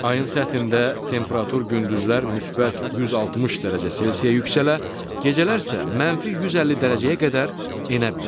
Ayın səthində temperatur gündüzlər müsbət 160 dərəcə Selsiyə yüksələ, gecələr isə mənfi 150 dərəcəyə qədər enə bilər.